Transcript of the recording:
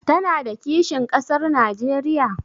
Tana da kishin ƙasar Najeriya?